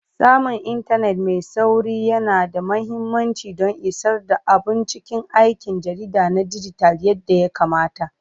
Samun intanet mai sauri yana da mahimmanci don isar da abun cikin aikin jarida na dijital yadda ya kamata.